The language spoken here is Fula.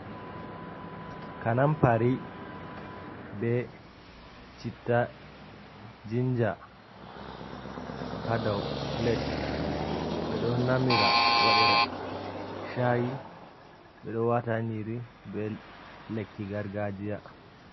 Kanampari be citta, jinja, hadaw pilat. ɓeɗo namira waɗira shai, ɓeɗo wata ha nyiri be lekki gargajiya.